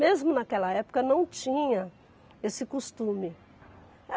Mesmo naquela época, não tinha esse costume.